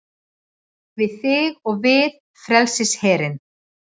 Við þig og við frelsisherinn